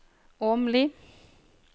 Åmli